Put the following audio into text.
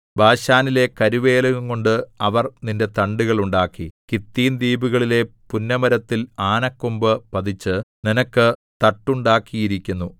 ബാശാനിലെ കരുവേലകംകൊണ്ട് അവർ നിന്റെ തണ്ടുകൾ ഉണ്ടാക്കി കിത്തീംദ്വീപുകളിലെ പുന്നമരത്തിൽ ആനക്കൊമ്പു പതിച്ച് നിനക്ക് തട്ടുണ്ടാക്കിയിരിക്കുന്നു